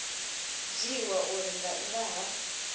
dzhiiwa uri nga nnḓa ha